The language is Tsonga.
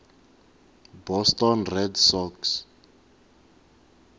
boston red sox